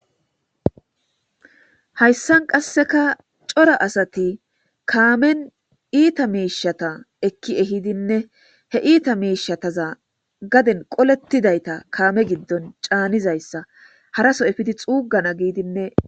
Hayssan qassekka cora asati kaamen iitta mishshata ekki ehidinne he iitta mishshataza gaaden qooletidaytta kaame giiddon caanizayssa harasso effidi xuugana giiddinne...